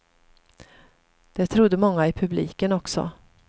Det trodde många i publiken också.